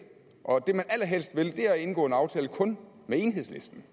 og det man allerhelst vil er at indgå en aftale kun med enhedslisten